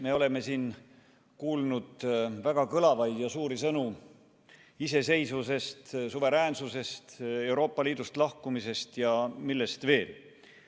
Me oleme siin kuulnud väga kõlavaid ja suuri sõnu iseseisvusest, suveräänsusest, Euroopa Liidust lahkumisest ja millest veel.